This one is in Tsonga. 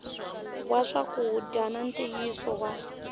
wa swakudya na ntiyisiso wa